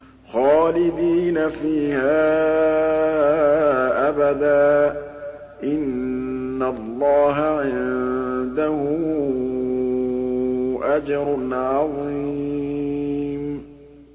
خَالِدِينَ فِيهَا أَبَدًا ۚ إِنَّ اللَّهَ عِندَهُ أَجْرٌ عَظِيمٌ